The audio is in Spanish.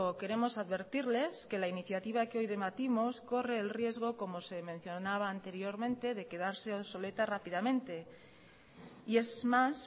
queremos advertirles que la iniciativa que hoy debatimos corre el riesgo como se mencionaba anteriormente de quedarse obsoleta rápidamente y es más